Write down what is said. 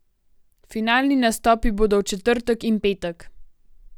Finalni nastopi bodo v četrtek in petek.